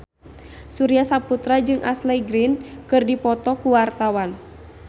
Surya Saputra jeung Ashley Greene keur dipoto ku wartawan